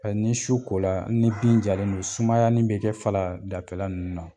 Ni su ko la ni binjalen don sumayani bɛ kɛ faladafɛni nunnu na